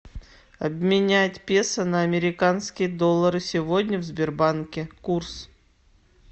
обменять песо на американские доллары сегодня в сбербанке курс